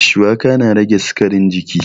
Shuwaka na rage sikarin jini